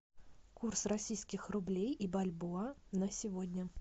курс российских рублей и бальбоа на сегодня